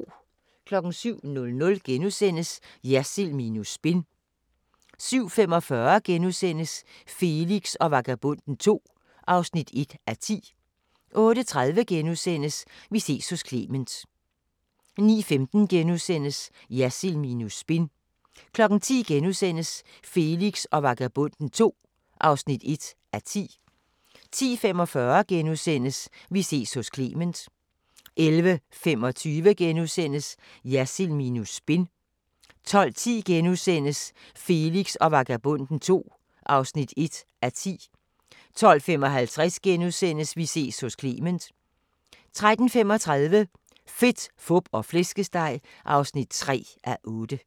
07:00: Jersild minus spin * 07:45: Felix og Vagabonden II (1:10)* 08:30: Vi ses hos Clement * 09:15: Jersild minus spin * 10:00: Felix og Vagabonden II (1:10)* 10:45: Vi ses hos Clement * 11:25: Jersild minus spin * 12:10: Felix og Vagabonden II (1:10)* 12:55: Vi ses hos Clement * 13:35: Fedt, Fup og Flæskesteg (3:8)